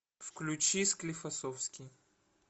включи склифосовский